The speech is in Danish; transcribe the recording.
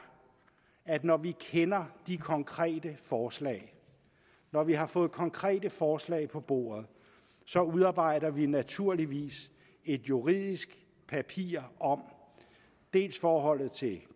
at når vi kender de konkrete forslag når vi har fået konkrete forslag på bordet så udarbejder vi naturligvis et juridisk papir om dels forholdet til